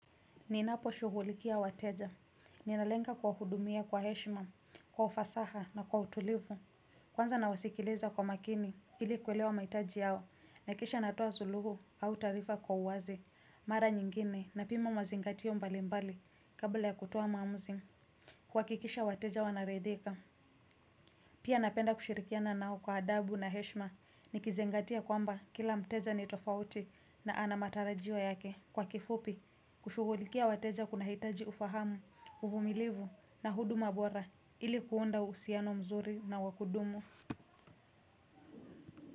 Ninaposhughulikia wateja, ninalenga kuwahudumia kwa heshima, kwa ufasaha na kwa utulivu. Kwanza nawasikiliza kwa makini ili kuelewa mahitaji yao nahakisha natoa suluhu au taarifa kwa uwazi. Mara nyingine napima mazingatio mbalimbali kabla ya kutoa maamuzi. Kuhakikisha wateja wanaridhika. Pia napenda kushirikiana nao kwa adabu na heshima nikizingatia kwamba kila mteja ni tofauti na ana matarajio yake. Kwa kifupi, kushughulikia wateja kunahitaji ufahamu, uvumilivu na huduma bora ili kuunda uhusiano mzuri na wa kudumu.